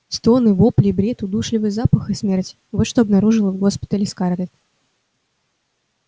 стоны вопли бред удушливый запах и смерть вот что обнаружила в госпитале скарлетт